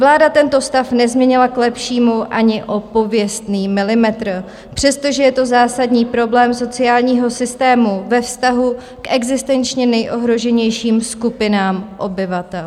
Vláda tento stav nezměnila k lepšímu ani o pověstný milimetr, přestože je to zásadní problém sociálního systému ve vztahu k existenčně nejohroženějším skupinám obyvatel.